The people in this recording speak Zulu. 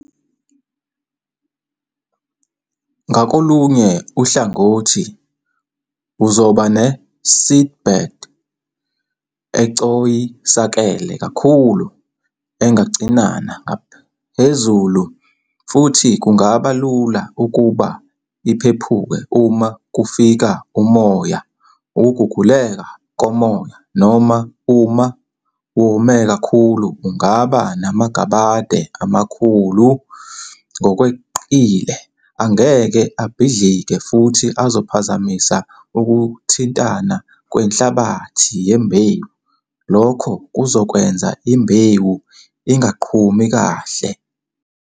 Ngakolunye uhlangothi uzoba ne-seedbed ecoyisakele kakhulu engacinana ngaphezulu futhi kungaba lula ukuba iphephuke uma kufika umoya, ukuguguleka komoya, noma uma wome kakhulu ungaba namagabade amakhulu ngokweqile angeke abhidlike futhi azophazamisa ukuthintana kwenhlabathi-yembewu lokho kuzokwenza imbewu ingaqhumi kahle.